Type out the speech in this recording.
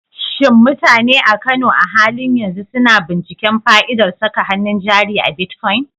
Shin mutane a Kano a halin yanzu suna binciken fa'idar saka hannun jari a bitcoin?